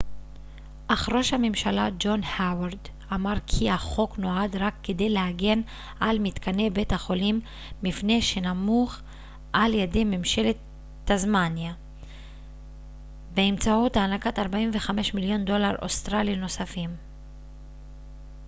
אך ראש הממשלה ג'ון האוורד אמר כי החוק נועד רק כדי להגן על מתקני בית החולים מפני שנמוך על ידי ממשלת טסמניה באמצעות הענקת 45 מיליון דולר אוסטרלי נוספים